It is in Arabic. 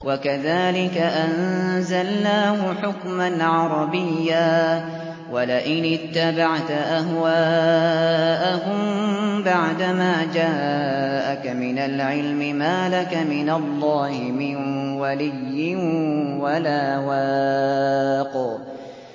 وَكَذَٰلِكَ أَنزَلْنَاهُ حُكْمًا عَرَبِيًّا ۚ وَلَئِنِ اتَّبَعْتَ أَهْوَاءَهُم بَعْدَمَا جَاءَكَ مِنَ الْعِلْمِ مَا لَكَ مِنَ اللَّهِ مِن وَلِيٍّ وَلَا وَاقٍ